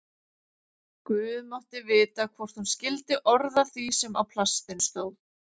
Guð mátti vita hvort hún skildi orð af því sem á plastinu stóð.